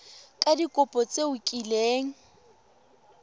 ka dikopo tse o kileng